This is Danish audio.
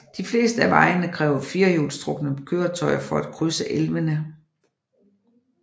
De fleste af vejene kræver firehjulstrukne køretøjer for at krydse elvene